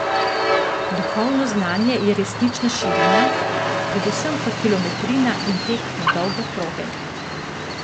Duhovno znanje je resnično širina, predvsem pa kilometrina in tek na dolge proge.